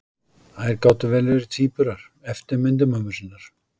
Þær gátu vel verið tvíburar, eftirmyndir mömmu sinnar.